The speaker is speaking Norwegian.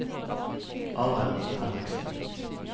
Arild Henriksen